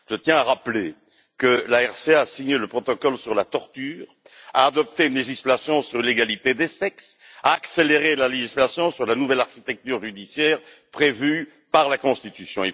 Je tiens à rappeler que la RCA a signé le protocole sur la torture, adopté une législation sur l'égalité des sexes et accéléré la législation sur la nouvelle architecture judiciaire prévue par la Constitution.